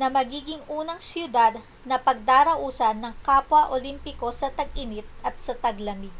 na magiging unang siyudad na pagdarausan ng kapwa olimpiko sa tag-init at sa taglamig